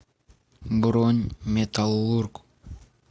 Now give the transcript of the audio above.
бронь металлург